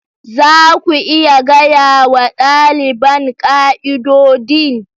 Za ku iya gaya wa ɗaliban ƙa'idodin?